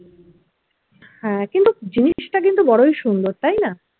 হ্যাঁ কিন্তু জিনিসটা কিন্তু বড়ই সুন্দর তাই না?